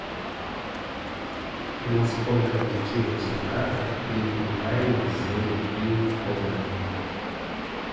на сколько блокируется карта при неправильном вводе пин кода